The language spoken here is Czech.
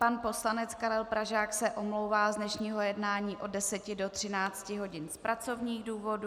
Pan poslanec Karel Pražák se omlouvá z dnešního jednání od 10 do 13 hodin z pracovních důvodů.